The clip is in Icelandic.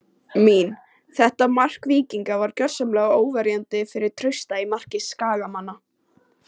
Mín: Þetta mark Víkinga var gjörsamlega óverjandi fyrir Trausta í marki Skagamanna.